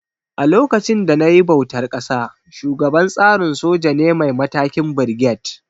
A lokacin da nayi bautar ƙasa, shugaban tsarin soja ne mai matakin Birget